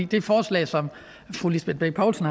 det forslag som fru lisbeth bech poulsen